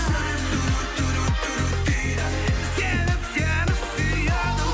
жүрек дейді себеп сені сүйеді